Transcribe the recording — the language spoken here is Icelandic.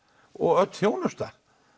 og öll þjónusta